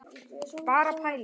Bara pæling!